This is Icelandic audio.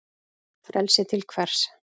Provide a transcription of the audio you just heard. Frelsi til hvers?